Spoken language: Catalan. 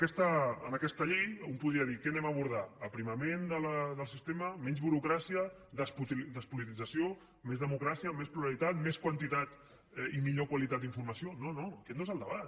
miri en aquesta llei un podria dir què abordarem aprimament del sistema menys burocràcia despolitització més democràcia més pluralitat més quantitat i millor qualitat d’informació no no aquest no és el debat